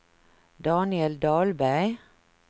Daniel Dahlberg